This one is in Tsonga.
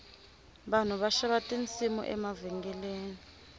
vanhu va xava tinsimu emavhengeleni